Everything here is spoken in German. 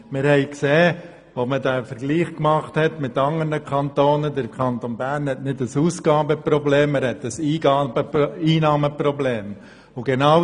Der damalige Vergleich mit anderen Kantonen zeigte, dass der Kanton Bern kein Ausgaben-, sondern ein Einnahmeproblem hat.